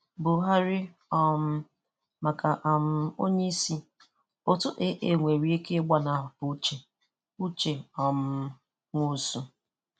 Buhari um maka um Onyeisi: Otu AA nwere ike ị̀gbanahụ uche Uche um Nwosu.